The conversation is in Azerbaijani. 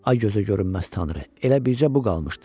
Ay gözə görünməz Tanrı, elə bircə bu qalmışdı.